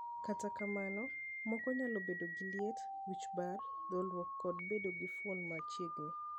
Kata kamano, moko nyalo bedo gi liet, wich bar, dholruok kod bedo gi fuond man machiegni.